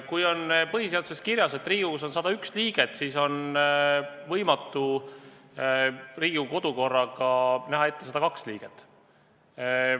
Kui on põhiseaduses kirjas, et Riigikogus on 101 liiget, siis on võimatu Riigikogu kodu- ja töökorra seadusega näha ette 102 liiget.